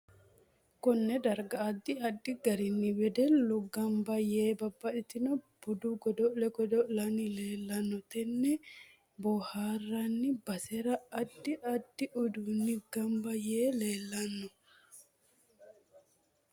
KOnne darga addi addi garinni wedellu ganba yee babbaxitinno budu godo'le godo'lanni leelanno tenne booharanni basera addi addi uduuni ganba yee leelanno